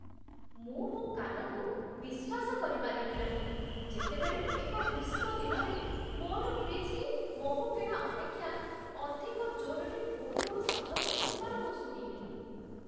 ମୁଁ ମୋ କାନକୁ ବିଶ୍ୱାସ କରିପାରିଲି ନାହିଁ, ଯେତେବେଳେ, ଏକ ଗ୍ରୀଷ୍ମ ଦିନରେ, ମୋର ଫ୍ରିଜ୍‌ଟି ମହୁଫେଣା ଅପେକ୍ଷା ଅଧିକ ଜୋର୍‌ରେ ଗୁଣୁଗୁଣୁ ଶବ୍ଦ କରୁଥିବାର ମୁଁ ଶୁଣିଲି!